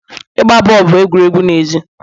Igba boolu bụ egwuregwu n'èzí